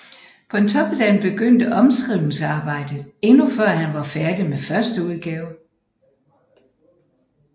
Pontoppidan begyndte omskrivningsarbejdet endnu før han var færdig med første udgave